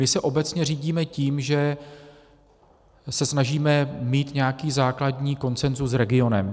My se obecně řídíme tím, že se snažíme mít nějaký základní konsenzus s regionem.